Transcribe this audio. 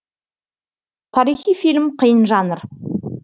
тарихи фильм қиын жанр